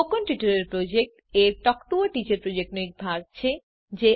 spoken tutorial project a talk to a teacher પ્રોજેક્ટનો એક ભાગ છે